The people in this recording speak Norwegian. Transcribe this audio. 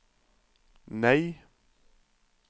nei